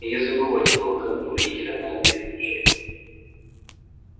и не забывайте по выходным к родителям на обед приезжать